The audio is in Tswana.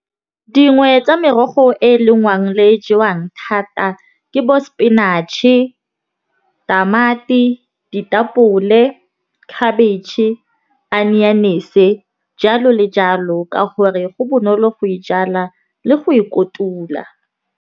Dingwe tsa merogo e e lengwang le jewang thata ke bo spinach-e, tamati, ditapole, khabetšhe, aneyanese jalo le jalo. Ka gore go bonolo go e jala le go e kotula.